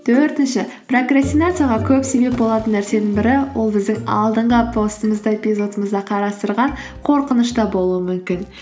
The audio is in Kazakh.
төртінші прокрастинацияға көп себеп болатын нәрсенің бірі ол біздің алдынғы постымызда эпизодымызда қарастырған қорқыныш та болуы мүмкін